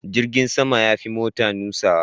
Jirgin sama ya fi mota nutsuwa.